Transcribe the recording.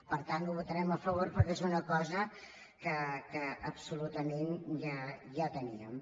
per tant ho votarem a favor perquè és una cosa que absolutament ja teníem